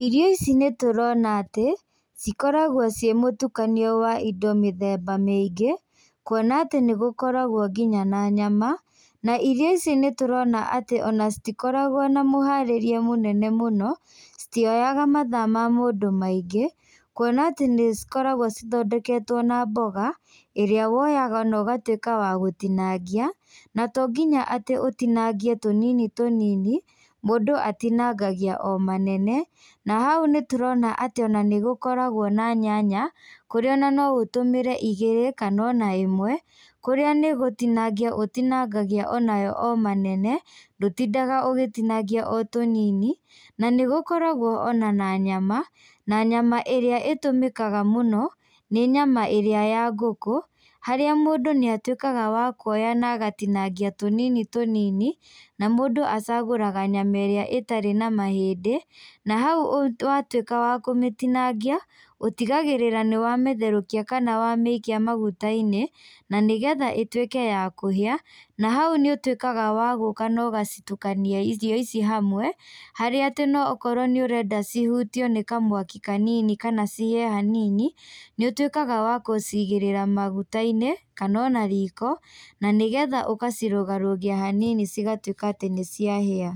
Irio ici nĩ tũrona atĩ cikoragwo ciĩ mũtukanio wa indo mĩthemba mĩingĩ, kuona atĩ nĩ gũkoragwo nginya na nyama. Na irio ici nĩ tũrona atĩ ona citikoragwo na mũharĩrie mũnene mũno. Citioyaga mathaa ma mũndũ maingĩ kuona atĩ nĩcikoragwo cithondeketwo na mboga ĩrĩa woyaga na ũgatuĩka wa gũtinangia. Na tonginya atĩ ũtinangie tũnini tũnini, mũndũ atinangagia o manene. Na hau nĩtũrona atĩ nĩ gũkoragwo na nyanya kũrĩa no ũtũmĩre igĩrĩ kana ona ĩmwe, kũríĩ nĩgũtinangia ũtinangagia onayo o manene, ndũtindaga ũgĩtinia o tũnini. Nĩgũkoragwo ona na nyama, na nyama ĩrĩa ĩtũmĩkaga mũno nĩ nyama ĩrĩa ya ngũkũ. Harĩa mũndũ nĩ atuĩkaga wa kuoya na agatinangia tũnini tũnini. Na mũndũ acagũraga nyama ĩrĩa ĩtarĩ na mahĩndĩ. Na hau watuĩka wa kũmĩtinangia, ũtigagĩrĩraga nĩ wa mĩtherũkia kana wamĩikia maguta-inĩ, na nĩgethaĩtuike ya kũhĩa. Na hau nĩ ũtuĩkaga wa gũka na ũgacitukania irio ici hamwe. Harĩa atĩ okorwo nĩ ũrenda cihutio nĩ kamwaki kanini kana cihĩe hanini, nĩũtuĩkaga wa gũciigĩrĩra maguta-inĩ, kana ona riko, nanĩgetha ũgacirũgarũgia hanini cigatuĩka atĩ nĩciahĩa.